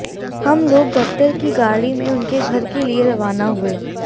हम लोग दफ्तर की गाड़ी में उनके घर के लिए रवाना हुए